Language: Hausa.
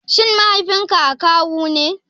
Shin Mahaifinka akawu ne?